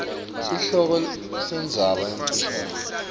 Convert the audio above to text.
sihloko sendzaba lemfisha